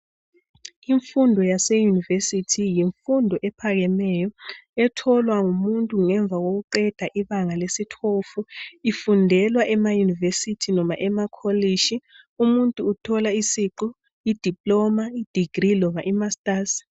Imfundo yaseyunivesithi yimfundo ephakemeyo etholwa ngumuntu ngemva kokuqeda ibanga lesi12. Ifundelwa emayunivesithi noma emakolitshi umuntu uthola isiqu idiploma, degree loba imasters.